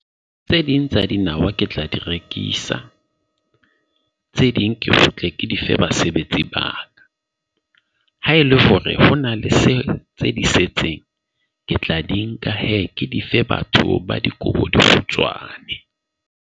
Tse ding tsa dinawa ke tla di rekisa. Tse ding ke utlwe ke dife basebetsi ba ka. Haele hore ho na le se tse di setseng, ke tla di nka hee ke dife batho ba dikobo di kgutshwane .